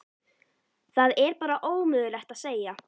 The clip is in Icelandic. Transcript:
Það er bara ómögulegt að segja.